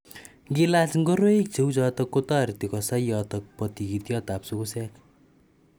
Ngliaach ngoroik che u choto ko tareri kosai yoto po tikityotap sugusek